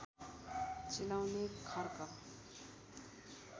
चिलाउने खर्क